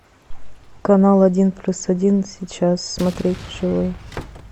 канал один плюс один сейчас смотреть вживую